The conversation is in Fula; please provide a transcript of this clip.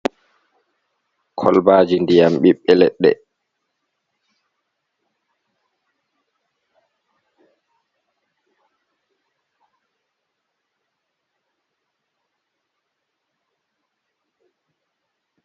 Kolbaji ndiyam biɓbe leɗɗe.